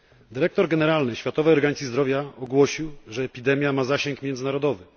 Dyrektor generalny Światowej Organizacji Zdrowia ogłosił, że epidemia ma zasięg międzynarodowy.